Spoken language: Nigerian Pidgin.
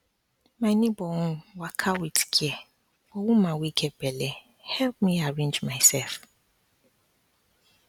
my neighbor own waka with care for woman wey get belle help me arrange myself